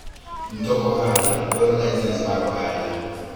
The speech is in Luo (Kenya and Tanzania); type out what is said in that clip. Mtok ohala dwaro lisens mar ohala.